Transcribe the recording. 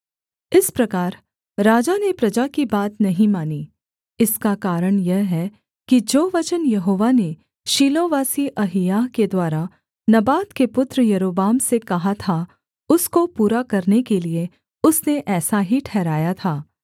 इस प्रकार राजा ने प्रजा की बात नहीं मानी इसका कारण यह है कि जो वचन यहोवा ने शीलोवासी अहिय्याह के द्वारा नबात के पुत्र यारोबाम से कहा था उसको पूरा करने के लिये उसने ऐसा ही ठहराया था